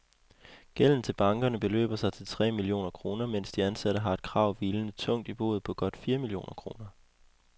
Gælden til bankerne beløber sig til tre millioner kroner, mens de ansatte har et krav hvilende tungt i boet på godt fire millioner kroner.